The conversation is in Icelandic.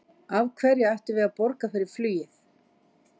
Af hverju ættum við að borga fyrir flugið?